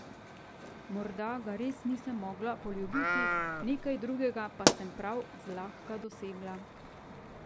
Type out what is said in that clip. Morda ga res nisem mogla poljubiti, nekaj drugega pa sem prav zlahka dosegla.